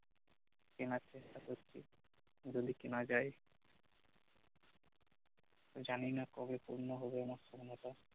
কেনার চেষ্টা করছি যদি কেনা যাই জানিনা কবে পূর্ণ হবে আমার স্বপ্নটা টা